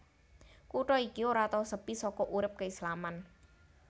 Kutha iki ora tau sepi saka urip keislaman